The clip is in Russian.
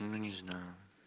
ну не знаю